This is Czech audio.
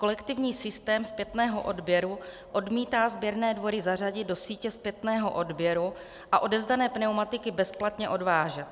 Kolektivní systém zpětného odběru odmítá sběrné dvory zařadit do sítě zpětného odběru a odevzdané pneumatiky bezplatně odvážet.